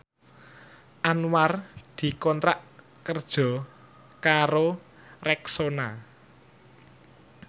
Anwar dikontrak kerja karo Rexona